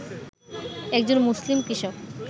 একজন মুসলিম কৃষক